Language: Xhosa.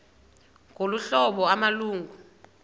ngolu hlobo amalungu